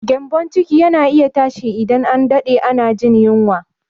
Gyambon ciki yana iya tashi idan an daɗe ana jin yunwa.